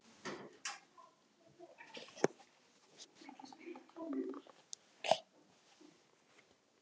Þetta er fáum gefið.